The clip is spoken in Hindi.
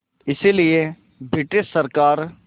इसलिए ब्रिटिश सरकार